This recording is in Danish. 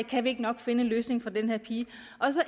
kan vi ikke nok finde en løsning for den her pige